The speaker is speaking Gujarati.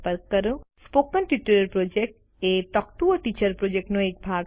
સ્પોકન ટ્યુટોરિયલ પ્રોજેક્ટ એ ટોક ટુ અ ટીચર પ્રોજેક્ટનો એક ભાગ છે